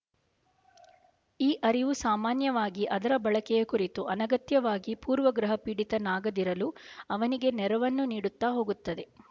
ಈ ಅರಿವು ಸಾಮಾನ್ಯವಾಗಿ ಅದರ ಬಳಕೆಯ ಕುರಿತು ಅನಗತ್ಯವಾಗಿ ಪೂರ್ವಗ್ರಹಪೀಡಿತನಾಗದಿರಲು ಅವನಿಗೆ ನೆರವನ್ನು ನೀಡುತ್ತಾ ಹೋಗುತ್ತದೆ